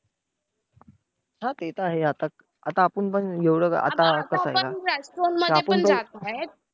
हा! ते तर आहे आता, आता आपण पण एवढं आता आपण restaurant मध्ये पण जातो बाहेर.